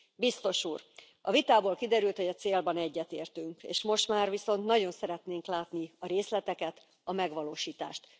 Biztos úr, a vitából kiderült, hogy a célban egyetértünk, és most már viszont nagyon szeretnénk látni a részleteket, a megvalósítást.